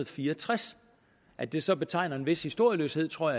fire og tres at det så betegner en vis historieløshed tror